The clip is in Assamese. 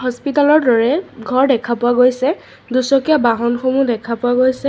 হস্পিতালৰ দৰে ঘৰ দেখা পোৱা গৈছে দুচকীয়া বাহনসমূহ দেখা পোৱা গৈছে।